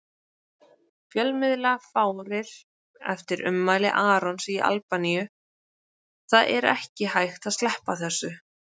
Fjölmiðlafárið eftir ummæli Arons í Albaníu Það er ekki hægt að sleppa þessu.